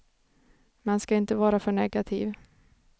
Man ska inte vara för negativ.